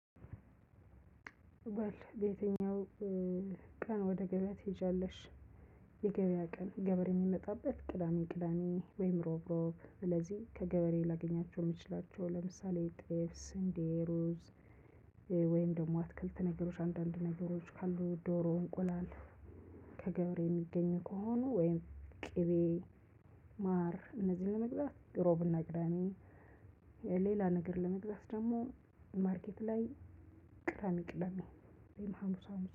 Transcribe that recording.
በል በየትኛው ቀን ወደ ገበያ ትሄጃለሽ? የገበያ ቀን ገበሬ የሚመጣበት ቅዳሜ ቅዳሜ ወይም ሮብ ሮብ ስለዚህ ከገበሬ ላገኛቸው የምችላቸው ለምሳሌ ጥፍ ስንዴ ሩዝ። ወይም ደግሞ አትክልት ነገሮች አንዳንድ ነገሮች ካሉ ዶሮ እንቁላል። ከገበሬ የሚገኝ ከሆኑ ወይም ቅቤ። ማር እነዚህን ለመግዛት ሮብና ቅዳሜ። ሌላ ነገር ለመግዛት ደግሞ ማርኬት ላይ። ቅዳሜ ቅዳሜ ወይም ሀሙስ ሀሙስ